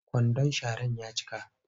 Kwandon sharar ya cika